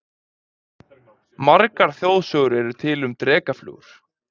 Margar þjóðsögur eru til um drekaflugur.